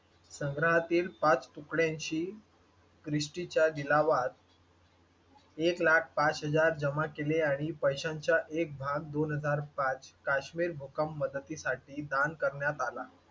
संग्रहातील पाच तुकड्यांची क्रिस्टीच्या लिलावात एक लाख पाच हजार जमा केले आणि पैशांचा एक भाग दोन हजार पाच काश्मीर भूकंप मदतीसाठी दान करण्यात आला.